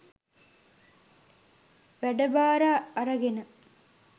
වැඩබාර අරගෙන